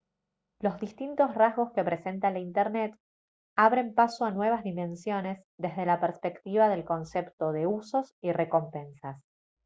los distintos rasgos que presenta la internet abren paso a nuevas dimensiones desde la perspectiva del concepto de usos y recompensas